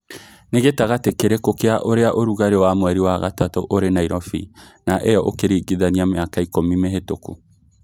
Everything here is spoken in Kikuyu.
nĩ gĩtangati kĩrikũ kia ũrĩa ũrũgari wa mweri wa gatatu ũri Nairobi na ĩyo ũkĩrigithania mĩaka ikũmi mĩhetũku